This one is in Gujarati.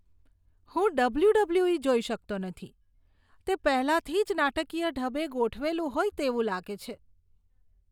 હું ડબ્લ્યુ.ડબ્લ્યુ.ઇ. જોઈ શકતો નથી. તે પહેલાંથી જ નાટકીય ઢબે ગોઠવેલું હોય તેવું લાગે છે.